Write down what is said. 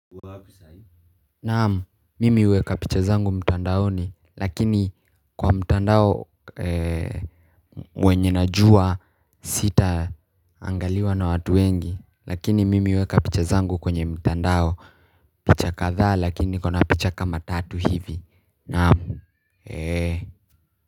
Naamu mimi weka picha zangu mtandaoni lakini kwa mtandao ee mwenye najua sita angaliwa na watu wengi lakini mimi weka picha zangu kwenye mtandao picha katha lakini nikona picha kama tatu hivi naamu.